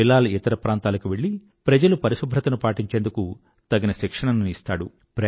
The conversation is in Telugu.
బిలాల్ ఇతర ప్రాంతాలకు వెళ్ళి ప్రజలు పరిశుభ్రతను పాటించేందుకు తగిన శిక్షణను ఇస్తాడు